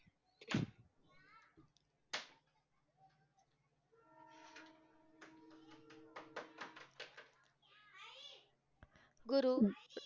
गुरु